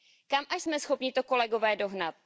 Kam až jsme schopni to, kolegové, dohnat?